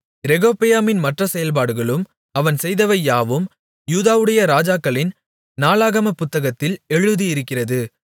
ரெகொபெயாமின் மற்ற செயல்பாடுகளும் அவன் செய்தவை யாவும் யூதாவுடைய ராஜாக்களின் நாளாகமப் புத்தகத்தில் எழுதியிருக்கிறது